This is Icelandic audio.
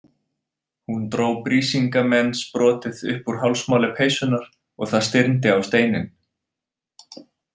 Hún dró Brísingamensbrotið upp úr hálsmáli peysunnar og það stirndi á steininn.